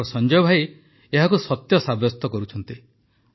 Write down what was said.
ଆମର ସଂଜୟ ଭାଇ ଏହାକୁ ସତ୍ୟ ସାବ୍ୟସ୍ତ କରୁଛନ୍ତି